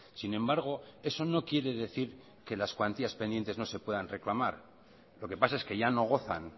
sin embargo eso no quiere decir que las cuantías pendientes no se puedan reclamar lo que pasa es que ya no gozan